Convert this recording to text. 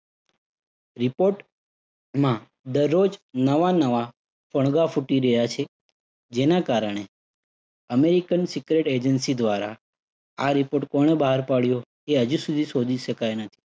Report માં દરરોજ નવા નવા ફણગાઓ ફૂટી રહ્યા છે. જેના કારણે American secret agency દ્વારા આ report કોણે બહાર પાડ્યો એ હજુ સુધી શોધી શકાયું નથી.